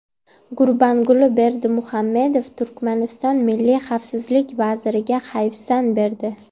Gurbanguli Berdimuhamedov Turkmaniston milliy xavfsizlik vaziriga hayfsan berdi.